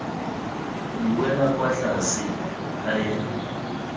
buela kwa tlase i am